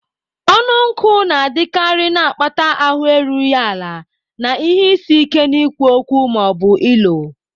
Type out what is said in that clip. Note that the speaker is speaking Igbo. Ọnụ nkụ na-adịkarị, na-akpata ahụ erughị ala na ihe isi ike n'ikwu okwu ma ọ bụ ilo.